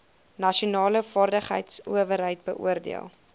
nasionale vaardigheidsowerheid beoordeel